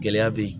Gɛlɛya be yen